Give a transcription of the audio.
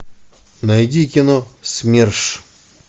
найди кино смерш